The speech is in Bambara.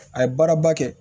A ye baaraba kɛ